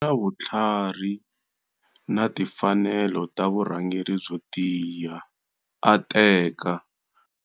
Na vutlhari na timfanelo ta vurhangeri byo tiya, a teka.